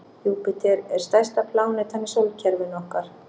Júpíter er stærsta plánetan í sólkerfinu okkar.